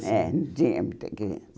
É, não tinha muitas crianças.